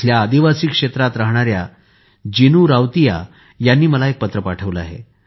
इथल्या आदिवासी क्षेत्रात राहणाऱ्या जिनु रावतीया यांनी मला एक पत्र पाठविले आहे